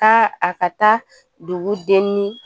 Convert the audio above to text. Taa a ka taa dugu denni